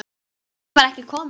Mamma þín var ekki komin.